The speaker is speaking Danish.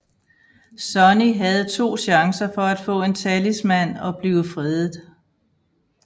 Sonny havde to chancer for at få en talisman og blive fredet